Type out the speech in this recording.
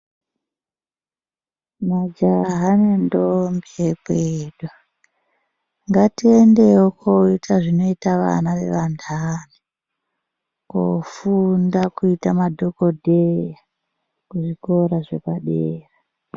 Majaha nendombi ekwedu ngatiendewo tinoita zvinoita vana wevandani kofunda kuita madhogodheya kuzvikora zvepadera.